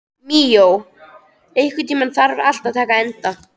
Míó, einhvern tímann þarf allt að taka enda.